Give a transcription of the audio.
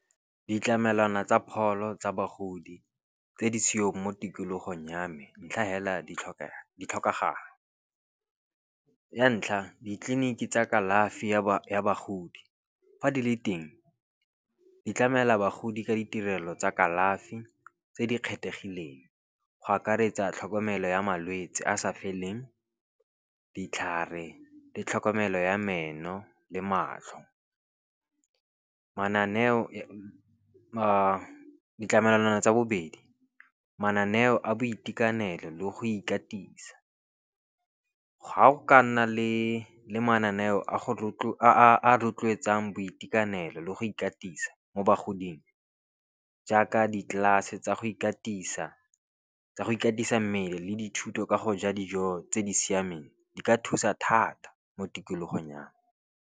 Ditlamelwana tsa pholo tsa bagodi tse di seong mo tikologong ya me, ntlha hela di tlhokeha di tlhokagala. Ya ntlha, ditleliniki tsa kalafi ya bagodi, fa di le teng di tlamela bagodi ka ditirelo tsa kalafi tse di kgethehileng. Go akaretsa tlhokomelo ya malwetsi a sa feleng, ditlhare le tlhokomelo ya meno le matlho. Mananeo ditlamelwana tsa bobedi, mananeo a boitekanelo le go ikatisa. Ga go ka nna le le mananeo a a boitekanelo le go ikatisa mo bagoding, jaaka di galase tsa go ikatisa tsa go ikatisa mmele le dithuto ka go ja dijo tse di siameng di ka thusa thata mo tikologong yang.